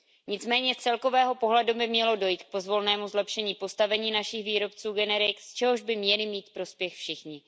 Nicméně z celkového pohledu by mělo dojít k pozvolnému zlepšení postavení našich výrobců generik, z čehož by měli mít prospěch všichni.